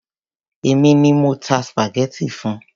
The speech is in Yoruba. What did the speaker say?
Èmi ni mo ta spaghetti fun.